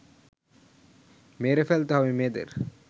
মেরে ফেলতে হবে মেয়েদের